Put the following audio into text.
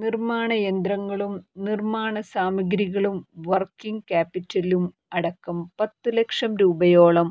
നിര്മ്മാണ യന്ത്രങ്ങളും നിര്മ്മാണ സാമഗ്രികളും വര്ക്കിങ് ക്യാപിറ്റലും അടക്കം പത്തുലക്ഷം രൂപയോളം